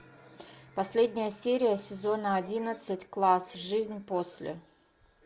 последняя серия сезона одиннадцать класс жизнь после